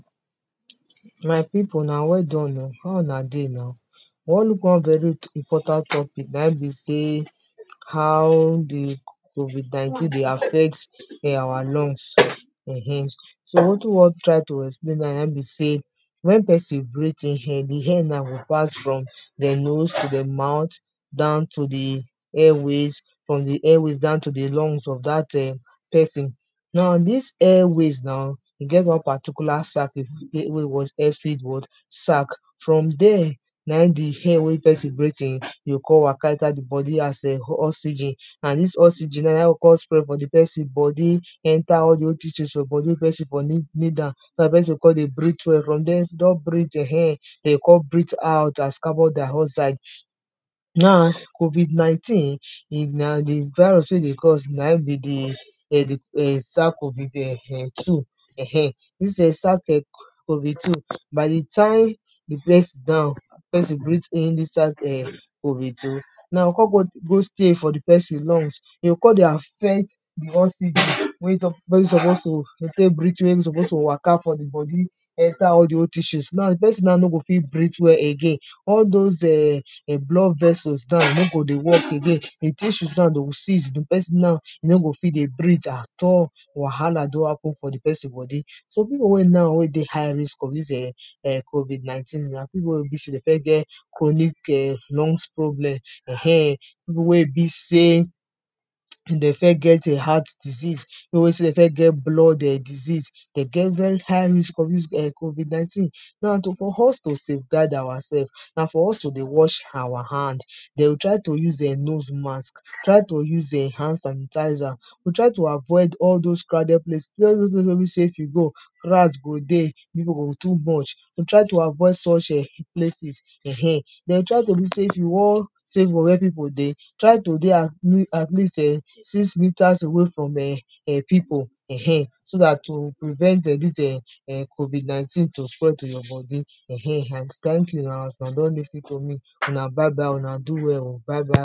my people, una well done o, how una dey now, one important topic na e bey say how the covid19 dey affect um our lung um so wetin wan try to explain na im be say when person breathe in air, the air na pass from nose to the mouth down to the airways, from the airways down to the lungs of that um person, now this airways now, e get one particular sack sack from there na im the air wey person breathe in e go come waka inside the body as oxygen and dis oxygen na im go come spread inside the person body enter all the whole details for body person body for kneel down, so that person go con dey breathe well, from then don breathe um dey go come breathe out as carbondioxide. Now, Covid 19 if na de virus wey dey cause na im be de um by the time it break down the person breathe in inside um covid 2 lungs e go con de affect the wey suppose to suppose to waka for the body enter all the whole tissue, now the person now no go fit breathe well again um all those um blood vessels nowno go dey work again, the tissue now dey will cease, the person now,e no go fit breathe at all wahala don happen for the person body. some people wey now wey dey high risk of this um covid19, na people wey get chronc lung problem um people wey be say dey first get um heart disease, people we say, they first get blood disease, dey get very high risk of this um covid19.now, to for us to saveguard ourselves na for us to dey wash our hand, na to try to dey use nose mask, dey try to dey use hand sanitizer, try to avoid all those crowded places if you go rat go dey, people go too much try to avoid such um places um then try to stay for where people dey, try to dey at lea at least um six meters away from um away from people um so that you prevent um dis covid19 spread to your body um and thank you na, as una don lis ten to me una bye bye o, una do well o, bye bye